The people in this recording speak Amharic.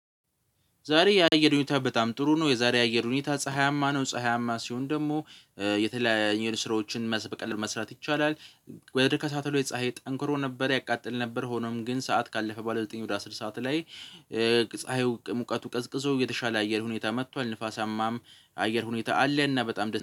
ዛሬ የአየር ሁኔታ በጣም ጥሩ ነው የዛሬ አየር ሁኔታ ፀሀያማ ነው ፀሀያማ ሲሆን ደግሞ የተለያየ ስራዎችን መስበቅ መስራት ይቻላል። ወይም ከሳተሎች ፀሀይ ጠንክሮ ነበር ያቃጥል ነበር ሆኖም ግን ሰዓት ካለፈ ባለ ዘጠኝ ወደ አስር ሰዓት ላይ። ፀሀዩ ሙቀቱ ቀዝቅዞ የተሻለ አየር ሁኔታ መጥቷል ንፋሳማም አየር ሁኔታ አለና በጣም።